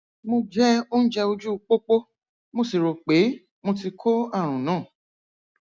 mo jẹ oúnjẹ ojú pópó mo sì rò pé mo ti kó àrùn náà